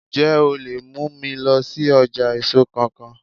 Ǹjẹ́ o lè mú mi lọ sí ọjà èso kan kan?